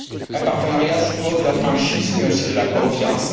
Un partenariat suppose de la franchise mais aussi de la confiance.